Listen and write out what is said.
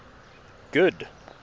good